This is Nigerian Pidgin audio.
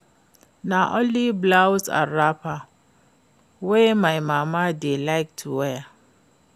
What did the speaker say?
Na only blouse and wrapper wey my mama dey like to wear